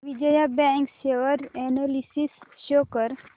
Vijaya bank share analysis show कर